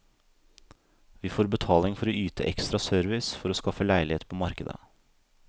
Vi får betaling for å yte ekstra service for å skaffe leilighet på markedet.